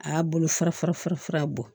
A y'a bolo fara fara fara fara bɔ